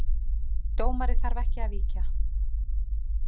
Dómari þarf ekki að víkja